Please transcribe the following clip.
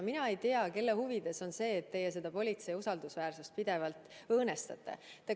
Mina ei tea, kelle huvides on see, et teie politsei usaldusväärsust pidevalt õõnestate.